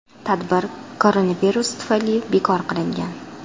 Tadbir koronavirus tufayli bekor qilingan.